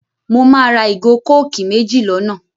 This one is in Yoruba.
Mo máa ra ìgò kókìì méjì l'ọ́nà